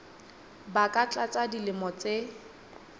ba ka tlasa dilemo tse